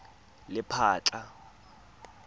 lephatla